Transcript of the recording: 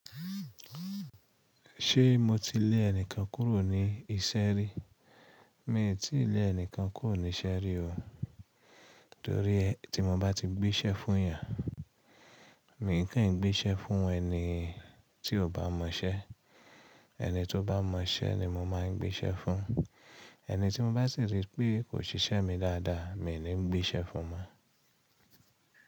Ṣé mo ti lé ẹnikan kúrò ní ìṣẹ́ rí? Mi ò tíì lé ẹnìkan kúrò níṣẹ́ rí o. Torí ẹ́ tí mo bá ti gbéṣẹ́ fún èèyàn, miì kò ín gbéṣẹ́ fún ẹni tí ò bá mọ iṣẹ́. Ẹni tó bá mọ iṣẹ́ ni mo máà ń gbéṣẹ́ fún. Torí ẹ́ tí mo bá ti gbé'ṣẹ́ fún èèyàn, miì kíìn gbéṣẹ́ fún ẹni tí ò bá mọ iṣẹ́.